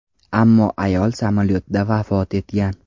Ammo ayol samolyotda vafot etgan.